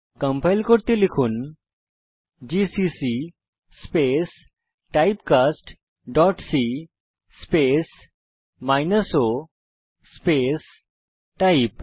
compile করতে লিখুন GCC space typecast dot c space minus o space type